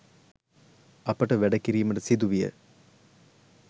අපට වැඩ කිරීමට සිදුවිය.